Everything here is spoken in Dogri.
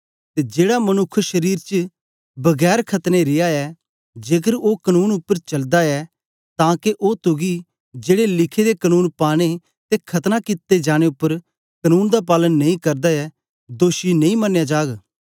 ते जेड़ा मनुक्ख शारीर च बिना खतना रिया ऐ जेकर ओ कनून उपर चालदा ऐ तां के ओ तुगी जेड़े लिखे दे कनून पाने ते खतना कित्ते जाने उपर बी कनून दा पालन नेई करदा ऐ दोषी नेई मनया जागा